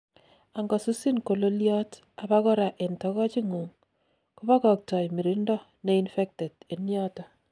angosusin kololiot, abakora en togoch ingung, kobogoktoi mirindo neinfected enyoton